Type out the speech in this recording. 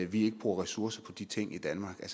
vi ikke bruger ressourcer på de ting i danmark er